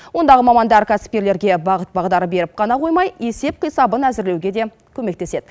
ондағы мамандар кәсіпкерлерге бағыт бағдар беріп қана қоймай есеп қисабын әзірлеуге де көмектеседі